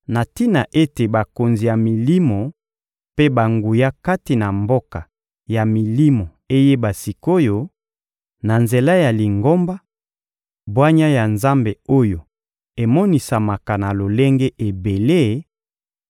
na tina ete bakonzi ya milimo mpe banguya kati na mboka ya milimo eyeba sik’oyo, na nzela ya Lingomba, bwanya ya Nzambe oyo emonisamaka na lolenge ebele,